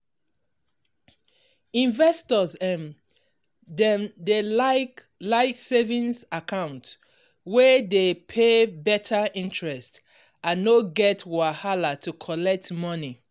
investor um dem dey like like savings account wey dey pay better interest and no get wahala to collect money.